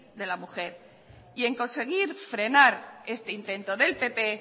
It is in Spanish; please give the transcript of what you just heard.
de la mujer y en conseguir frenar este intento del pp